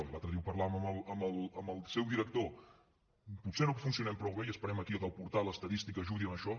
i l’altre dia ho parlàvem amb el seu director potser no funcionem prou bé i esperem aquí que el portal estadístic ajudi en això